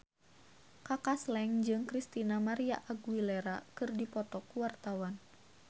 Kaka Slank jeung Christina María Aguilera keur dipoto ku wartawan